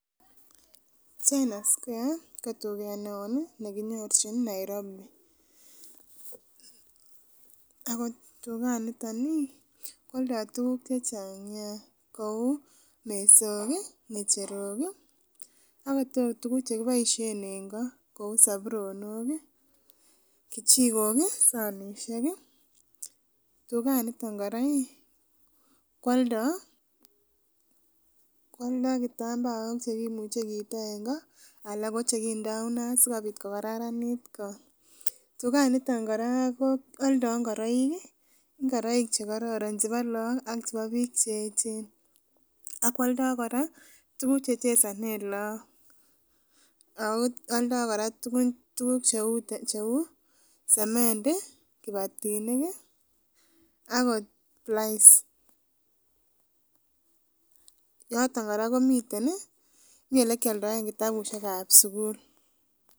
China square ko tuket neo nekinyorchi nairobi akot tugan nito ih koaldo tuguk chechang neaa kouu mesok ih, ng'echerok ih, akot oh tuguk chekiboisien en ko kouu saburonok ih , kichikok ih, sanisiek ih. Tugan nito kora ih koaldo kitambaok cheimuche kiito en ko, anan ko chekindo inat sikobit kokaranit ko tugan nito koaldo ingoraik chebo laak ak bik cheechen akoaldo kora tukuk chechesanen lakok ao alda kora tukuk cheuu sementi kibatinik akot plize noton kora komiten ih mi elekialdoen kitabusiek kab sukul